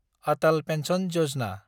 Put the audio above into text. Atal pension Yojana